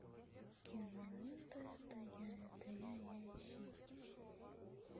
кинолента это я это я я ищи